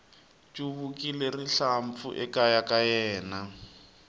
chuvekile rihlampfu ekaya ka yena